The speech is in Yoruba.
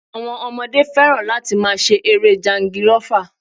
Àwọn ọmọdé fẹ́ràn láti máa ṣe eré jangirọ́fa